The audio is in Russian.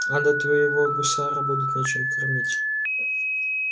а то твоего гусара будет нечем кормить